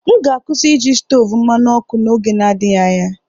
M ga-akwụsị iji stovu mmanụ ọkụ n'oge n'adịghị anya.